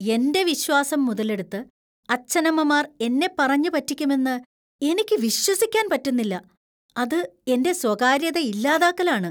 എന്‍റെ വിശ്വാസം മുതലെടുത്ത്‌ അച്ഛനമ്മമാർ എന്നെ പറഞ്ഞു പറ്റിക്കുമെന്നു എനിക്ക് വിശ്വസിക്കാൻ പറ്റുന്നില്ല .അത് എന്‍റെ സ്വകാര്യത ഇല്ലാതാക്കലാണ്.